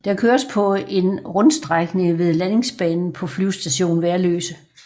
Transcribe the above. Der køres på en rundstrækning ved landingsbanen på Flyvestation Værløse